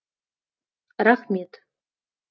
рахмет